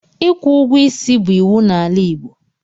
Ịkwụ ụgwọ isi bụ iwu n'ala Igbo.